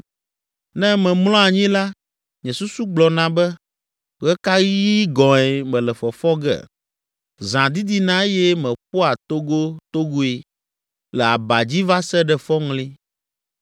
Ne memlɔ anyi la, nye susu gblɔna be, ‘Ɣe ka ɣi gɔ̃e mele fɔfɔ ge?’ Zã didina eye meƒoa togotogoe le aba dzi va se ɖe fɔŋli.